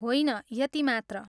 होइन, यति मात्र।